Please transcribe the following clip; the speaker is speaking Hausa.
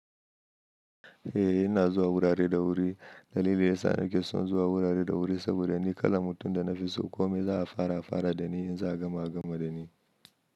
Eh ina zuwa wurare da wuri. Dalili ya sa nake son zuwa wurare da wuri saboda ni kala mutum da na fi so kome za a fara fara da ni in za a gama gama da ni.